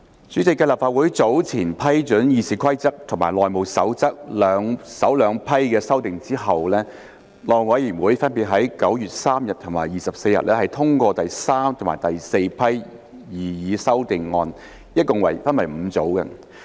主席，繼立法會早前批准《議事規則》和《內務守則》首兩批的修訂之後，內務委員會分別在9月3日和24日通過第三和第四批擬議修訂，一共分為5組。